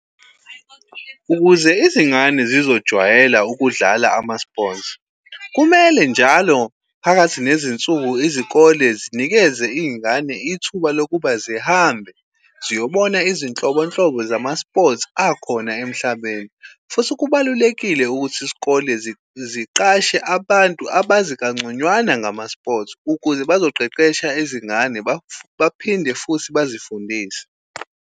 Ukuze izingane zizojwayela ukudlala ama-sports, kumele njalo phakathi nezinsuku izikole zinikeze iy'ngane ithuba lokuba zihambe ziyobona izinhlobonhlobo zama-sports akhona emhlabeni. Futhi kubalulekile ukuthi isikole ziqashe abantu abazi kangconywana ngama-sports, ukuze bazoqeqesha izingane baphinde futhi bazifundise.